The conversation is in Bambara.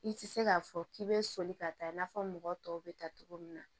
I ti se k'a fɔ k'i be soli ka taa i n'a fɔ mɔgɔ tɔw bɛ ta cogo min na